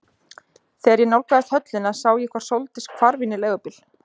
Þegar ég nálgaðist höllina sá ég hvar Sóldís hvarf inn í leigubíl.